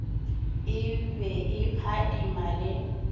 e be e phadima le